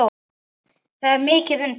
Það er mikið undir.